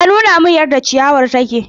Ya nuna min yadda ciyawar take.